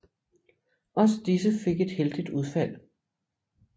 Også disse fik et heldigt udfald